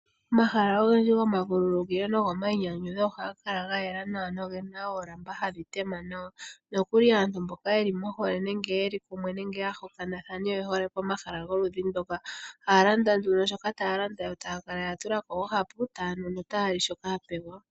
Omahala ogendji goma vululukilo nogo mainyanyu ohaga kala ga yela nawa nogena oolamba hadhi tema nawa nokuli aantu mboka yeli mohole nenge yeli pamwe nenge yahokana oyehole pomahala goludhi ndoka. Ohaya landa nduno shoka taya landa yo taya kala ya tulako oohapu tayanu no tayali shoka yapewa .